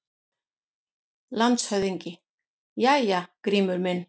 LANDSHÖFÐINGI: Jæja, Grímur minn!